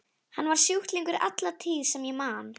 Hann var sjúklingur alla tíð sem ég man.